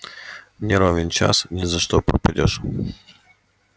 не ровен час ни за что пропадёшь